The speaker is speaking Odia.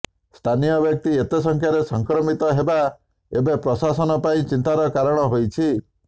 ସ୍ଥାନୀୟ ବ୍ୟକ୍ତି ଏତେ ସଂଖ୍ୟାରେ ସଂକ୍ରମିତ ହେବା ଏବେ ପ୍ରଶାସନ ପାଇଁ ଚିନ୍ତାର କାରଣ ହୋଇଛି